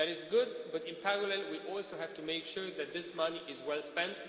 That is good, but in parallel we also have to make sure that this money is well spent.